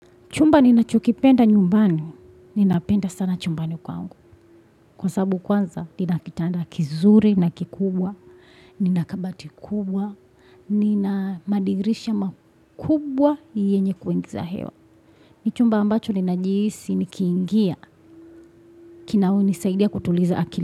Chumba ninachokipenda nyumbani, ninapenda sana chumbani kwangu. Kwasabu kwanza, nina kitanda kizuri, na kikubwa, ninakabati kubwa, nina madirisha makubwa yenye kuingiza hewa. Ni chumba ambacho ninajihisi, nikiingia, kina nisaidia kutuliza akili.